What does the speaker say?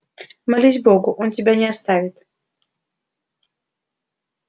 молись богу он тебя не оставит